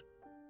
Bəs eləyər?